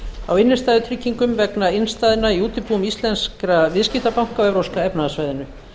á innstæðutryggingum vegna innstæðna í útibúum íslenskra viðskiptabanka á evrópska efnahagssvæðinu